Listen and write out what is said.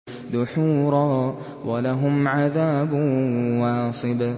دُحُورًا ۖ وَلَهُمْ عَذَابٌ وَاصِبٌ